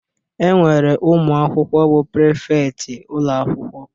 E nwere ụmụakwụkwọ bụ prịfektị ụlọakwụkwọ